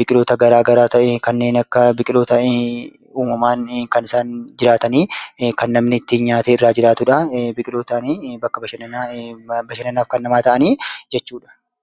biqiloota garaa garaa ta'ee kanneen akka biqiloota uumamaan kan isaan jiraatanii kan namni ittiin nyaatee irraa jiraatudha. Biqilootaani bakka bashannanaa bashannanaaf kan namaa ta'anii jechuudha.